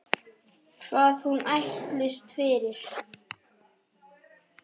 Hvað hún ætlist fyrir.